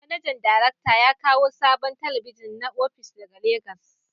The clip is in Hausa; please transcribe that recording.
Manajan darakta ya kawo sabon talabijin na opishin ,daga Legas.